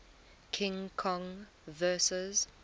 king kong vs